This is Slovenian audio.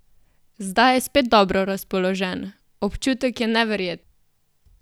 Zdaj je spet dobro razpoložen: "Občutek je neverjeten.